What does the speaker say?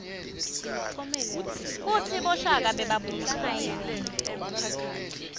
kutsi boshaka bebabusa ngayiphi indlela